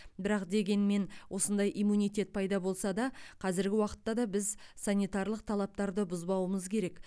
бірақ дегенмен осындай иммунитет пайда болса да қазіргі уақытта да біз санитарлық талаптарды бұзбауымыз керек